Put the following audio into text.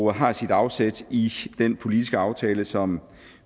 og har sit afsæt i den politiske aftale som